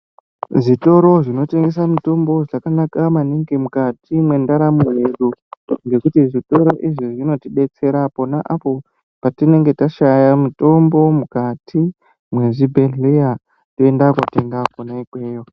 Zvitoro zvino tengesa mitombo zvakanaka maningi mukati mwe ndaramo yedu ngekuti zvitoro izvi zvinoti detsera ponapo patinenge tashaya mitombo mukati mwe zvibhedhlera toenda kotenga kona ikweyo.